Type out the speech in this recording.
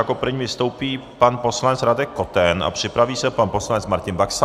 Jako první vystoupí pan poslanec Radek Koten a připraví se pan poslanec Martin Baxa.